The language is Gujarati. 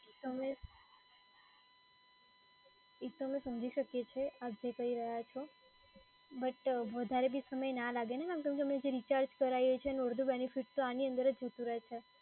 હવે. એ તો અમે સમજી શકીએ છીએ આપ જે કહી રહ્યાં છો, but વધારે બી સમય ના લાગે ને મેડમ. કેમ કે અમે જે રિચાર્જ કરાઈએ છે એનો અડધો બેનીફીટ તો આની અંદર જ જતો રહે છે.